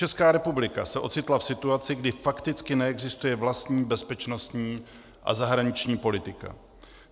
Česká republika se ocitla v situaci, kdy fakticky neexistuje vlastní bezpečnostní a zahraniční politika.